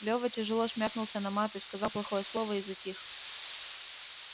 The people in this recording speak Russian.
лёва тяжело шмякнулся на маты сказал плохое слово и затих